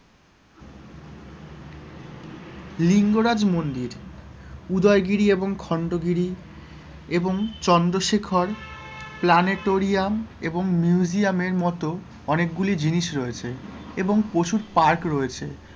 লিঙ্গরাজ মন্দির, উদয়গিরি এবং খন্ডগিরি এবং চন্দ্রশেখর প্লানেটোরিয়াম এবং মিউজিয়াম এর মতো অনেকগুলি জিনিস রয়েছে এবং পশুর part রয়েছে,